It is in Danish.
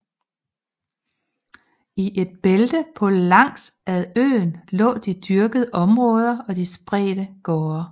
I et bælte på langs ad øen lå de dyrkede områder og de spredte gårde